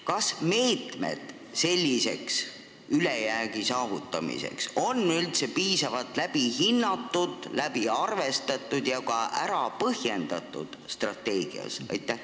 Kas meetmed ülejäägi saavutamiseks on strateegias üldse piisavalt läbi hinnatud, läbi arvestatud ja ka ära põhjendatud?